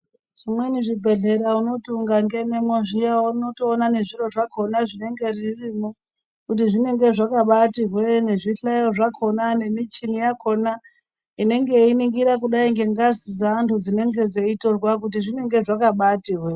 Zvimweni zvi bhehleya unoti uka ngenemwo zviya unotoona ne zviro zvakona zvinenge zvirimo kuti zvinenge zvakabaiti hweee ne zvi hlayo zvakona ne michina yakona inenge yei ningira kudai nge ngazi dze antu dzinenge dzei torwa kuti zinenge zvakabaiti hweee.